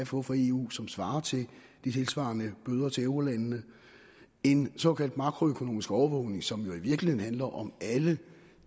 få fra eu som svarer til de tilsvarende bøder til eurolandene en såkaldt makroøkonomisk overvågning som jo i virkeligheden handler om alle